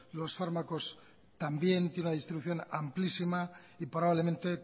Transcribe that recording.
los fármacos también tienen una distribución amplísima y probablemente